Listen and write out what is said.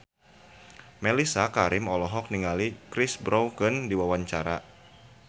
Mellisa Karim olohok ningali Chris Brown keur diwawancara